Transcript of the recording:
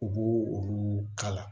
U b'o olu kala